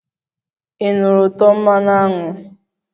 Ị nụrụ ụtọ mmanụ aṅụ?